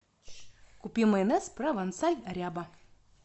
купи майонез провансаль ряба